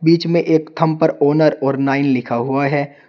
इचमें एक थम पर ओनर और नाइन लिखा हुआ है।